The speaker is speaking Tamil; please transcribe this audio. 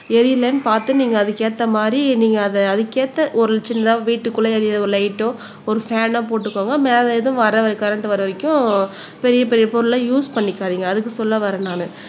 எரியலைன்னு பார்த்து நீங்க அதுக்கு ஏத்த மாதிரி நீங்க அதை அதுக்கு ஏத்த ஒரு சின்னதா வீட்டுக்குள்ள எரியற ஒரு லைட்டோ ஒரு ஃ பேன்னோ போட்டுக்கோங்க மேல ஏதும் வர்ற கரண்ட் வர்ற வரைக்கும் பெரிய பெரிய பொருள் எல்லாம் யூஸ் பண்ணிக்காதீங்க அதுக்கு சொல்ல வர்றேன் நானு